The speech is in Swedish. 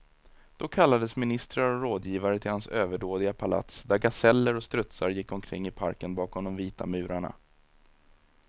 Då kallades ministrar och rådgivare till hans överdådiga palats, där gaseller och strutsar gick omkring i parken bakom de vita murarna.